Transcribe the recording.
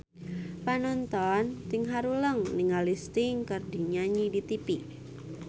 Panonton ting haruleng ningali Sting keur nyanyi di tipi